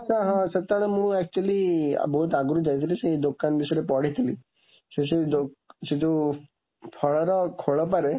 ତ ହଁ, ସେତେବେଳେ ମୁଁ actually ବହୁତ ଆଗରୁ ଯାଇଥିଲି, ସେ ଦୋକାନ ବିଷୟରେ ପଢିଥିଲି। ସେସବୁ ସେ ଯୋଉ ଫଳର ଖୋଳପାରେ